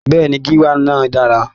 Bẹ́ẹ̀ni, gíwá náà dára.